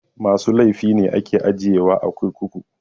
Masu laify ne ake ajiye wa a kurkuku